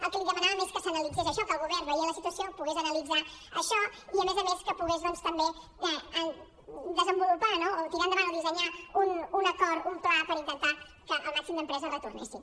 el que li demanàvem és que s’analitzés això que el govern veient la situació pogués analitzar això i a més a més que pogués també desenvolupar no o tirar endavant o dissenyar un acord un pla per intentar que el màxim d’empreses retornessin